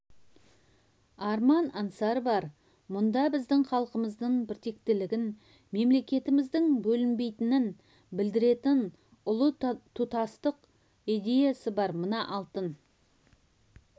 арман-аңсары бар мұнда біздің халқымыздың біртектілігін мемлекетіміздің бөлінбейтінін білдіретін ұлы тұтастық идеясы бар мына алтын